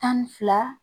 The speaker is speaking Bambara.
Tan ni fila